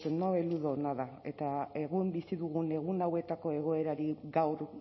uzten no eludo nada eta egun bizi dugun egun hauetako egoerari gaur